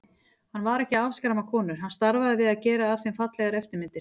Hann var ekki að afskræma konur, hann starfaði við að gera af þeim fallegar eftirmyndir.